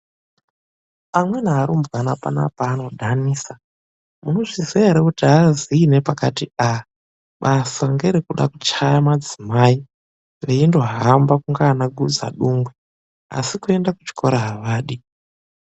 Amweni arumbwana panapa anodhanisa. Munozviziya here kuti avaziyi nepati a.Basa ngerekuda kuchaya madzimai veyindohamba kunge vanagudza dungwe asi kuenda kuchikora avadi.